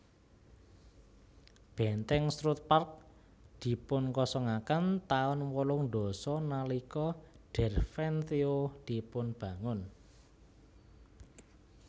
Bèntèng Strutt Park dipunkosongaken taun wolung dasa nalika Derventio dipunbangun